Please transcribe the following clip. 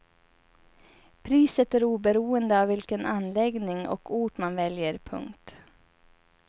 Priset är oberoende av vilken anläggning och ort man väljer. punkt